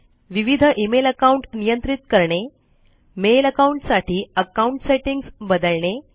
विविध email account नियंत्रित करणे मेल अकाउंट साठी अकाउंट सेटिंग्स बदलणे